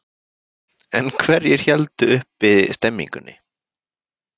En hverjir héldu uppi stemmingunni?